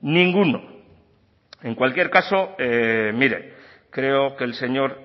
ninguno en cualquier caso mire creo que el señor